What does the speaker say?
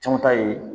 Caman ta ye